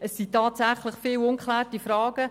Es gibt tatsächlich viele ungeklärte Fragen.